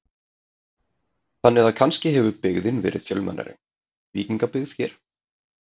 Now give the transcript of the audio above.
Þannig að kannski hefur byggðin verið fjölmennari, víkingabyggðin hér?